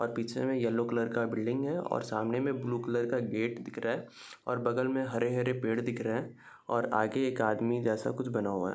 और पीछे में येल्लो कलर का बिल्डिंग है और सामने में ब्लू कलर का गेट दिख रहा है और बगल में हरे हरे पेड़ दिख रहे हैं और आगे एक आदमी जैसा कुछ बना हुआ है।